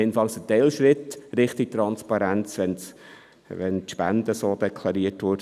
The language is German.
Immerhin wäre es ein Teilschritt in Richtung Transparenz, wenn die Spenden so deklariert würden.